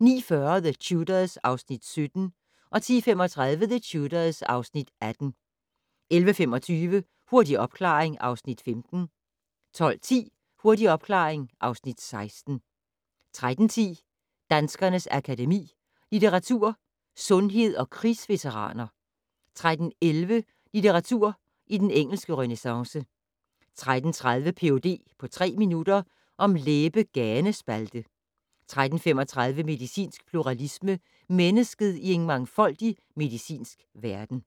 09:40: The Tudors (Afs. 17) 10:35: The Tudors (Afs. 18) 11:25: Hurtig opklaring (Afs. 15) 12:10: Hurtig opklaring (Afs. 16) 13:10: Danskernes Akademi: Litteratur, Sundhed & Krigsveteraner 13:11: Litteratur i den engelske renæssance 13:30: Ph.d. på tre minutter - om læbe-ganespalte 13:35: Medicinsk pluralisme - mennesket i en mangfoldig medicinsk verden